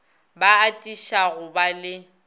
ba atiša go ba le